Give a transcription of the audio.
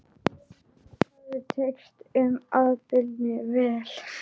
Lygarnar höfðu tekist með afbrigðum vel.